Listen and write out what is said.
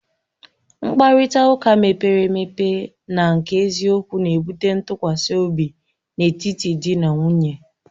Mkparịta ụka mepere emepe na nke eziokwu na-ebute ntụkwasị obi n'etiti di na nwunye